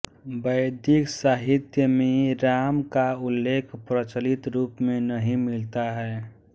वैदिक साहित्य में राम का उल्लेख प्रचलित रूप में नहीं मिलता है